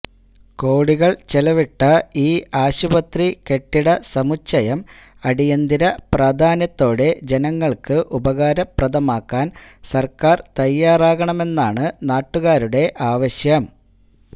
കോടികള് ചെലവിട്ട ഈ ആശുപത്രി കെട്ടിടസമുച്ചയം അടിയന്തര പ്രാധാന്യത്തോടെ ജനങ്ങള്ക്ക് ഉപകാരപ്രദമാക്കാന് സര്ക്കാര് തയാറാകണമെന്നാണ് നാട്ടുകാരുടെ ആവശ്യം